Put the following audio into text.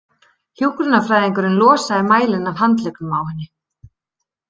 Hjúkrunarfræðingurinn losaði mælinn af handleggnum á henni.